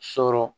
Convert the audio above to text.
Sɔrɔ